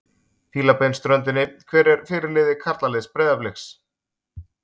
Fílabeinsströndinni Hver er fyrirliði karlaliðs Breiðabliks?